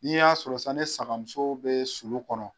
N'i y'a sɔrɔ san ni sagamuso bɛ sulu kɔnɔ